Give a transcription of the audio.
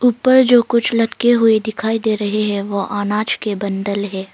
ऊपर जो कुछ लटके हुए दिखाई दे रहे हैं वो अनाज के बंडल है।